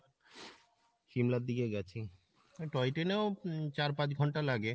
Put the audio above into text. সিমলার দিকে গেছি। এ toy train এও উম চার পাঁচ ঘন্টা লাগে